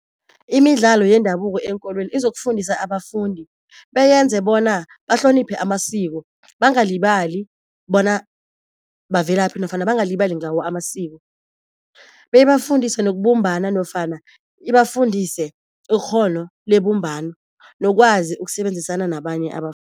Imidlalo yendabuko eenkolweni izokufundisa abafundi, beyenze bona bahloniphe amasiko bangalibali bona bavelaphi nofana bangalibali ngawo amasiko, beyibafundise nokubumbana nofana ibafundise ikghono lebumbano nokwazi ukusebenzisana nabanye